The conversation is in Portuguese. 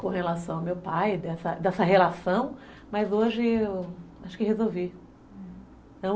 com relação ao meu pai, dessa dessa relação, mas hoje eu... acho que resolvi, hum